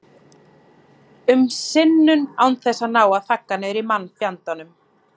um sinnum án þess að ná að þagga niður í mannfjandanum.